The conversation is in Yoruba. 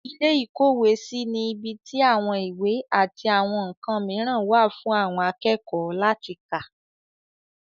ilé ìkówèésí ni ibi tí àwọn ìwé àti àwọn ǹkan mìíràn wà fún àwọn akẹ́kọ̀ọ́ láti kà.